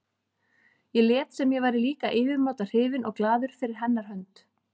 Ég lét sem ég væri líka yfirmáta hrifinn og glaður fyrir hennar hönd.